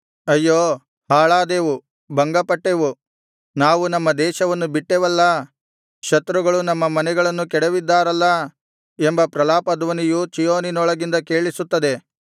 ಅಯ್ಯೋ ಹಾಳಾದೆವು ಭಂಗಪಟ್ಟೆವು ನಾವು ನಮ್ಮ ದೇಶವನ್ನು ಬಿಟ್ಟೆವಲ್ಲಾ ಶತ್ರುಗಳು ನಮ್ಮ ಮನೆಗಳನ್ನು ಕೆಡವಿದ್ದಾರಲ್ಲಾ ಎಂಬ ಪ್ರಲಾಪಧ್ವನಿಯು ಚೀಯೋನಿನೊಳಗಿಂದ ಕೇಳಿಸುತ್ತದೆ